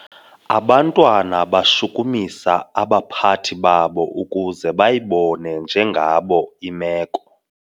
Abantwana bashukumisa abaphathi babo ukuze bayibone njengabo imeko.